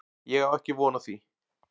Ég á ekki von á því